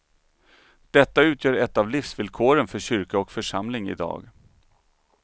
Detta utgör ett av livsvillkoren för kyrka och församling idag.